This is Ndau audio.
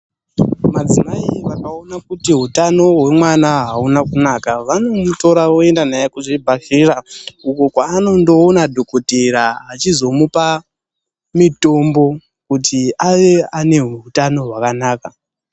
Madzimai vakaona kuti utano hwemwana hauna kunaka, vanomutora voyenda naye kuzvibhedhlera, uko kwaanondoona dhokodhera achizomupa mitombo kuti ave ane hutano hwakanaka.